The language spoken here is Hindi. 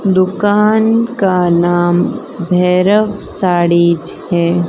दुकान का नाम भैरव साड़ीज है।